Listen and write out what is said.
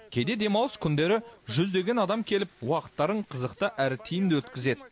кейде демалыс күндері жүздеген адам келіп уақыттарын қызықты әрі тиімді өткізеді